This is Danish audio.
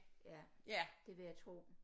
Ja det vil jeg tro